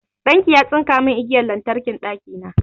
Ɗan ki ya tsinka mun igiyar lantarkin ɗakina